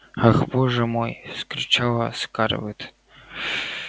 ах боже мой вскричала скарлетт